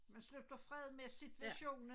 Man slutter fred med situationen